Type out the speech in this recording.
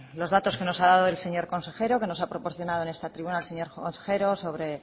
los datos que nos ha dado el señor consejero que nos ha proporcionado en esta tribuna el señor consejero sobre